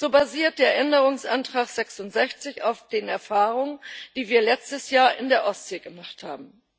So basiert der Änderungsantrag 66 auf den Erfahrungen, die wir letztes Jahr in der Ostsee gemacht haben.